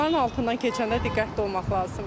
Onların altından keçəndə diqqətli olmaq lazımdır.